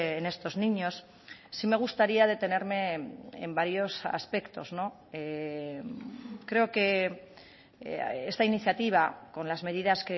en estos niños sí me gustaría detenerme en varios aspectos creo que esta iniciativa con las medidas